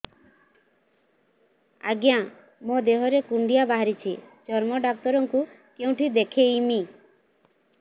ଆଜ୍ଞା ମୋ ଦେହ ରେ କୁଣ୍ଡିଆ ବାହାରିଛି ଚର୍ମ ଡାକ୍ତର ଙ୍କୁ କେଉଁଠି ଦେଖେଇମି